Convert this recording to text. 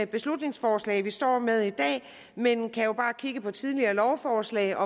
beslutningsforslag vi står med i dag men vi kan jo bare kigge på tidligere lovforslag og